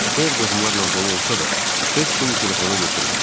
Ev qohumlarla dolu olsa da, heç kim telefonu götürmürdü.